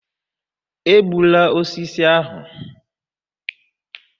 egbula osisi ahụ!